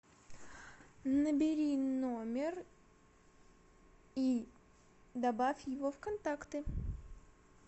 набери номер и добавь его в контакты